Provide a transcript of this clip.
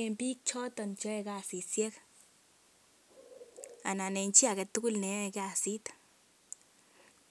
en biik choto che yoe kasishek anan en chi age tugul ne yoe kasit.